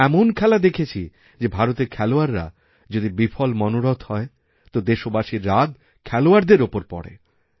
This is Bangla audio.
আমি এমনখেলা দেখেছি যে ভারতের খেলোয়াড়রা যদি বিফল মনোরথ হয় তো দেশবাসীর রাগ খেলোয়াড়দেরওপর পড়ে